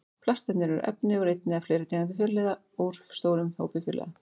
Plastefni eru efni úr einni eða fleiri tegundum fjölliða úr stórum hópi fjölliða.